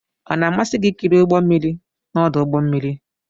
Ọ na-amasị gị ikiri ụgbọ mmiri n'ọdụ ụgbọ mmiri?